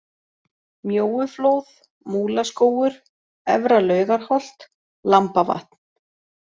Mjóuflóð, Múlaskógur, Efra-Laugarholt, Lambavatn